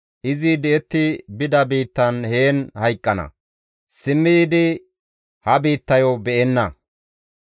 Izi di7etti bida biittan heen hayqqana; simmi yiidi ha biittayo be7enna.